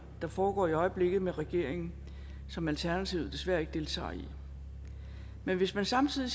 der foregår i øjeblikket med regeringen og som alternativet desværre ikke deltager i men hvis man samtidig